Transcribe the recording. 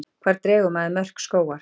Hvar dregur maður mörk skógar?